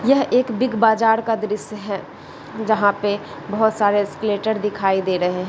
यह एक Big Bazaar का द्र्श्य है जहाँ पे बहुत सारे एस्केलेटर दिखाइ दे रहे है।